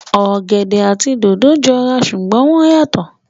Ọ̀gẹ̀dẹ̀ àti dòdò jọ ra ṣùgbọ́n wọ́n yàtọ̀